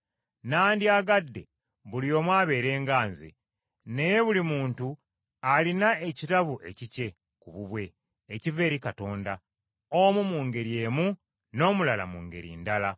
Nandyagadde buli omu abeere nga nze; naye buli muntu alina ekirabo ekikye ku bubwe ekiva eri Katonda, omu mu ngeri emu n’omulala mu ngeri endala.